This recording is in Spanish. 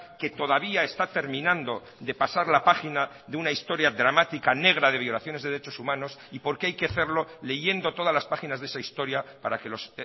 que todavía está terminando de pasar la página de una historia dramática negra de violaciones de derechos humanos y porque hay que hacerlo leyendo todas las páginas de esa historia para que los